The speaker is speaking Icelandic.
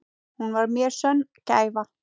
Hún var mér sönn gæfa.